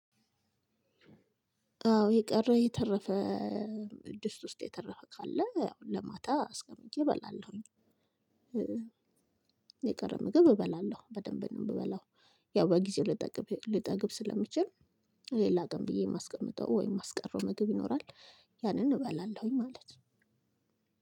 አዎ የቀረ የተረፈ፣ ድስት ውስጥ የተረፈ ካለ ያው ለማታ አስቀምጬ እበላለሁኝ። የቀረ ምግብ እበላለሁ በደንብ ነው የምበላው። ያው በጊዜው ልጠግብ፣ ልጠግብ ስለምችል ሌላ ቀን ብዬ የማስቀምጠው ወይም የማስቀረው ምግብ ይኖራል። ያንን እበላለሁኝ ማለት ነው።